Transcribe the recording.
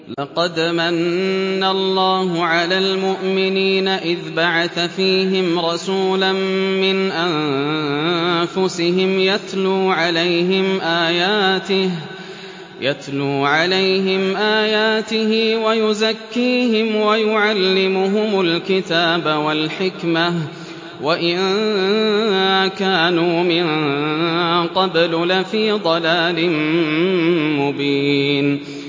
لَقَدْ مَنَّ اللَّهُ عَلَى الْمُؤْمِنِينَ إِذْ بَعَثَ فِيهِمْ رَسُولًا مِّنْ أَنفُسِهِمْ يَتْلُو عَلَيْهِمْ آيَاتِهِ وَيُزَكِّيهِمْ وَيُعَلِّمُهُمُ الْكِتَابَ وَالْحِكْمَةَ وَإِن كَانُوا مِن قَبْلُ لَفِي ضَلَالٍ مُّبِينٍ